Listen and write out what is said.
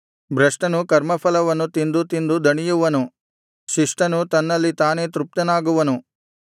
ಭ್ರಷ್ಟನು ಕರ್ಮಫಲವನ್ನು ತಿಂದು ತಿಂದು ದಣಿಯುವನು ಶಿಷ್ಟನು ತನ್ನಲ್ಲಿ ತಾನೇ ತೃಪ್ತನಾಗುವನು